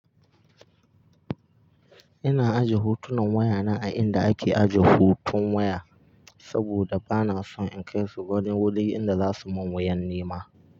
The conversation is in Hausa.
Ina ajiya hotunan wayana a inda ake aje hotun waya saboda bana son in kai su wani wuri inda za su mun wayan nima.